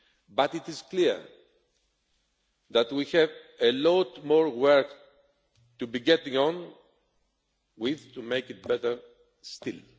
but it is clear that we have a lot more work to be getting on with to make it better